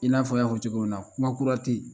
I n'a fɔ y'a fɔ cogo min na kuma kura tɛ yen